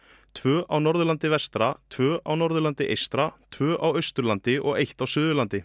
tvö á Norðurlandi vestra tvö á Norðurlandi eystra tvö á Austurlandi og eitt á Suðurlandi